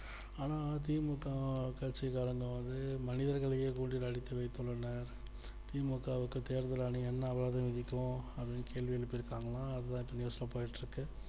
ஆனா தி மு க கட்சிக்காரங்க வந்து மனிதர்களையே கூண்டில் அடக்கி வைத்துள்ளன தி மு க விட்டு தேர்தல் ஆணையம் என்ன ஆகறது இப்போ அப்படின்னு கேள்வி எழுப்பியிருக்காங்க அதை இப்போ news ல போயிட்டு இருக்கு